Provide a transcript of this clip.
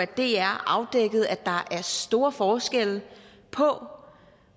dr afdækkede at der er store forskelle på